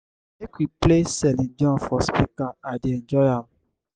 make we play celine dion for speaker i dey enjoy am.